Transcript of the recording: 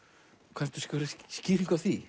kanntu einhverja skýringu á því